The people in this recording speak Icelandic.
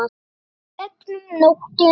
Ferð gegnum nóttina